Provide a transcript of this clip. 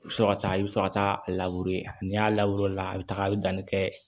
I bɛ sɔrɔ ka taa i bɛ sɔrɔ ka taa a n'i y'a labure o la a bɛ taga a bɛ danni kɛ